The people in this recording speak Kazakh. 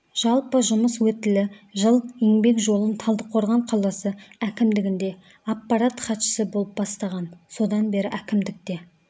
жалпы жұмыс өтілі жыл еңбек жолын талдықорған қаласы әкімдігінде аппарат хатшысы болып бастаған содан бері әкімдікте